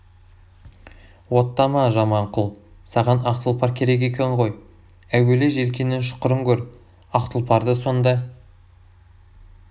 оттама жаман құл саған ақ тұлпар керек екен ғой әуелі желкеңнің шұқырын көр ақ тұлпарды сонда